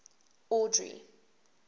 audrey